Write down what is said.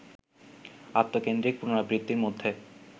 আত্মকেন্দ্রিক পুনরাবৃত্তির মধ্যে